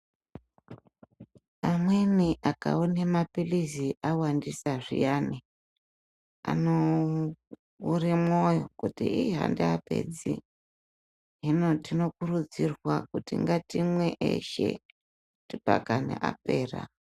Amweni akaone maphilizi awandisa zviyani, anoore mwoyo kuti hii handiapedzi. Hino tinokurudzirwa kuti ngatimwe eshe pakani apera.